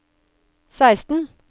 seksten